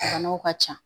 Banaw ka ca